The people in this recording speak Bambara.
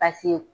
Paseke